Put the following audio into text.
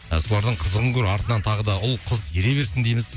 солардың қызығын көр артынан тағы да ұл қыз ере берсін дейміз